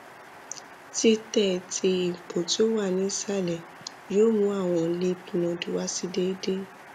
titẹ ti ipo ti o wa ni isalẹ yoo mu awọn lymph node wa si deede